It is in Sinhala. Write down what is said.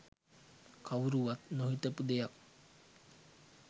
කවුරුවත් නොහිතපු දෙයක්.